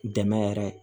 Dɛmɛ yɛrɛ